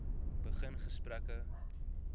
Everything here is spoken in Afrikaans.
begin gesprekke